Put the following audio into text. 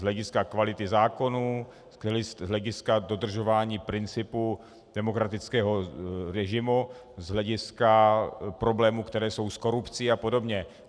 Z hlediska kvality zákonů, z hlediska dodržování principu demokratického režimu, z hlediska problémů, které jsou s korupcí a podobně.